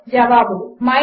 జవాబులు 1